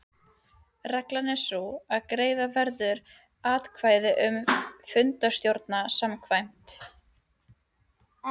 Reglan er sú að greiða verður atkvæði um fundarstjóra samkvæmt